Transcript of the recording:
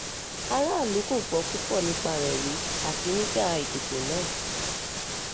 aráàlú kò gbọ́ púpọ̀ nípa rẹ̀ rí àfi nígbà ìdìbò náà